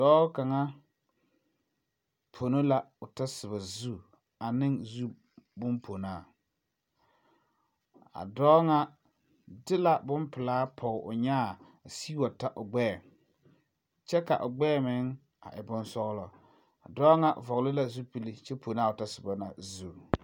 Dɔɔ kaŋa pɔno la o tɔ soba zu a ne zu boŋ pɔnaa a dɔɔ ŋa ti la bompelaa pɔge o nyaa a sigi wa ta o gbɛɛ kyɛ ka o gbɛɛ meŋ e boŋ sɔglɔ Dɔɔ ŋa vɔgle la zupili kyɛ pɔno a tɔ soba zu.